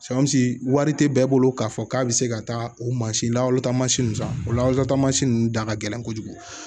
wari te bɛɛ bolo k'a fɔ k'a be se ka taa o mansin lahalata mansin ninnu san o la taamasiyɛn ninnu da ka gɛlɛn kojugu